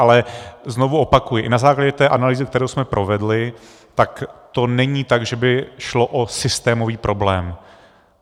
Ale znovu opakuji, i na základě té analýzy, kterou jsme provedli, tak to není tak, že by šlo o systémový problém.